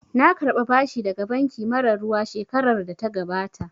Na karɓa bashi daga banki mara ruwa shekarar da ta gabata